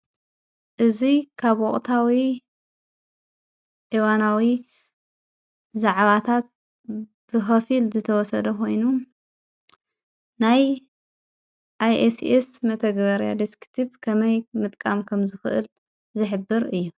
እዙይ ካብ ወቕታዊ ፣እዋናዊ ዛዕባታት ብኸፊል ዝተወሰደ ኾይኑ ናይ ኣይኤስኤስ መተግበርያ ድስኪቲብ ከመይ ምጥቃም ከም ዝኽእል ዝሕብር እዩ።